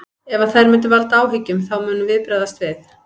Ef að þær munu valda áhyggjum þá munum við bregðast við.